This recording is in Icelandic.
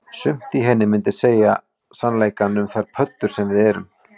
Sumt í henni myndi segja sannleikann um þær pöddur sem við erum